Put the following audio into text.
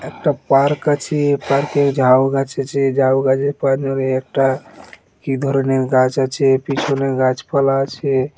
একটা পার্ক আছে পার্কে ঝাউ গাছ আছে ঝাউ গাছ ধরে একটা কি ধরনের গাছ আছে পিছনে গাছপালা আছে।